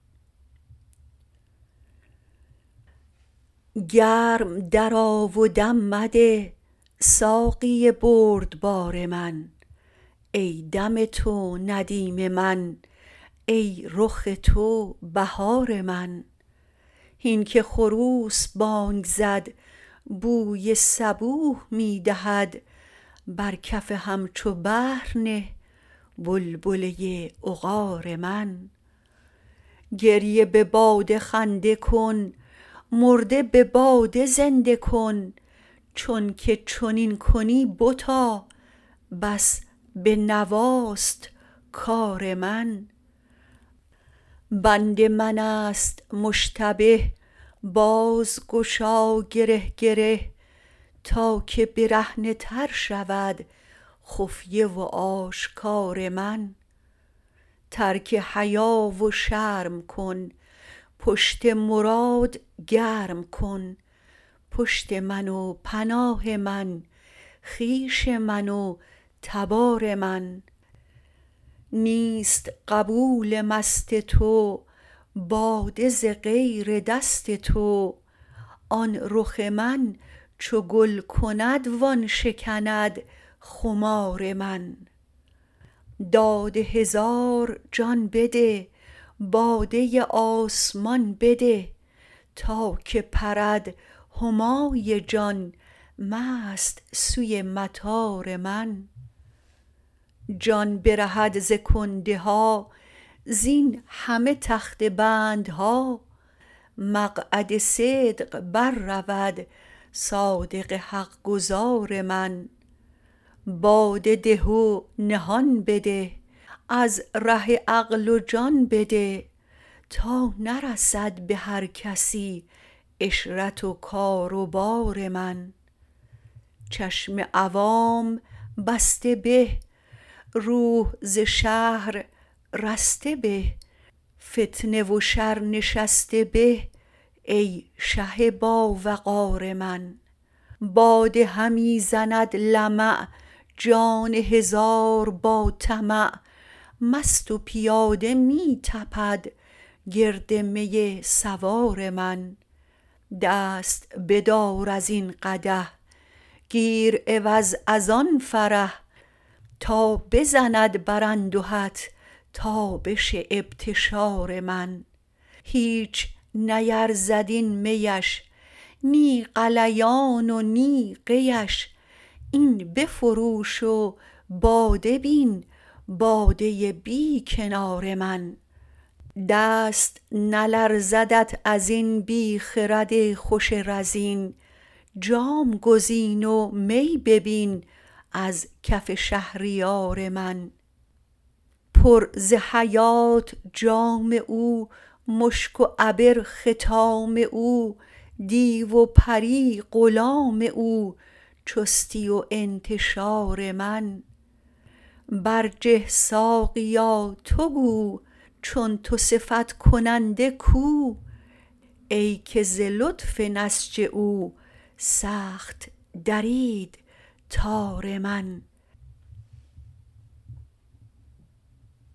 گرم درآ و دم مده ساقی بردبار من ای دم تو ندیم من ای رخ تو بهار من هین که خروس بانگ زد بوی صبوح می دهد بر کف همچو بحر نه بلبله عقار من گریه به باده خنده کن مرده به باده زنده کن چونک چنین کنی بتا بس به نواست کار من بند من است مشتبه باز گشا گره گره تا که برهنه تر شود خفیه و آشکار من ترک حیا و شرم کن پشت مراد گرم کن پشت من و پناه من خویش من و تبار من نیست قبول مست تو باده ز غیر دست تو آن رخ من چو گل کند وان شکند خمار من داد هزار جان بده باده آسمان بده تا که پرد همای جان مست سوی مطار من جان برهد ز کنده ها زین همه تخته بندها مقعد صدق بررود صادق حق گزار من باده ده و نهان بده از ره عقل و جان بده تا نرسد به هر کسی عشرت و کار و بار من چشم عوام بسته به روح ز شهر رسته به فتنه و شر نشسته به ای شه باوقار من باده همی زند لمع جان هزار با طمع مست و پیاده می تپد گرد می سوار من دست بدار از این قدح گیر عوض از آن فرح تا بزند بر اندهت تابش ابتشار من هیچ نیرزد این میش نی غلیان و نی قیش این بفروش و باده بین باده بی کنار من دست نلرزدت از این بی خرد خوش رزین جام گزین و می ببین از کف شهریار من پر ز حیات جام او مشک و عبر ختام او دیو و پری غلام او چستی و انتشار من برجه ساقیا تو گو چون تو صفت کننده کو ای که ز لطف نسج او سخت درید تار من